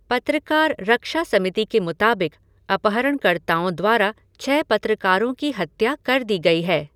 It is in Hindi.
पत्रकार रक्षा समिति के मुताबिक अपहरणकर्ताओं द्वारा छह पत्रकारों की हत्या कर दी गई है।